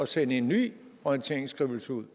sende en ny orienteringsskrivelse ud